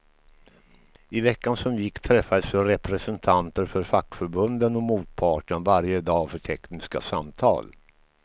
I veckan som gick träffades representanter för fackförbunden och motparten varje dag för tekniska samtal.